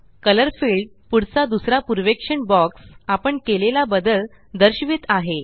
colour field पुढचा दुसरा पूर्वेक्षण बॉक्स आपण केलेला बदल दर्शवित आहे